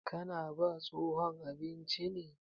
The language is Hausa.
Ka na ba tsohon abinci ne?